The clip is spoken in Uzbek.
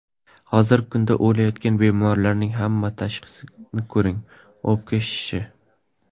Hozirgi kunda o‘layotgan bemorlarning hamma tashxisini ko‘ring: o‘pka shishishi!